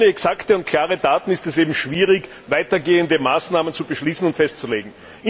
Denn ohne exakte und klare Daten ist es schwierig, weitergehende Maßnahmen zu beschließen und festzulegen.